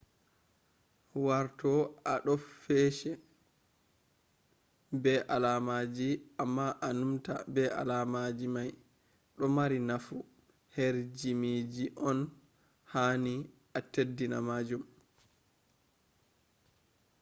warto a do fece be alamaji ,amma a numta be alamaji mai do mari nufu her jimiji on, ha ni a teddini majum